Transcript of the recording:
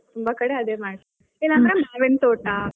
ತುಂಬಾ ಕಡೆ ಅದನ್ನೇ ಮಾಡಿ ಇಲ್ಲಾ ಅಂದ್ರೆ ಮಾವಿನ್ ತೋಟಾ.